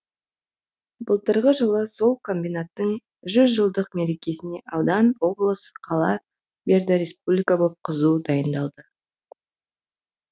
былтырғы жылы сол комбинаттың жүзжылдық мерекесіне аудан облыс қала берді республика боп қызу дайындалды